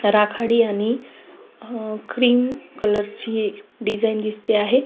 राखाडी आणि cream colour ची डिझाईन दिसते आहे.